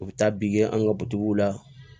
U bɛ taa be an ka butigiw la